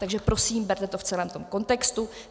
Takže prosím, berte to v celém tom kontextu.